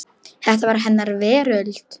Þetta var hennar veröld.